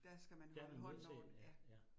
Der skal man holde hånden over den, ja